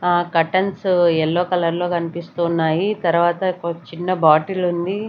ఆహ్ curtains yellow colour లో కనిపిస్తున్నాయి తర్వాత ఒక చిన్న బాటిల్ ఉంది.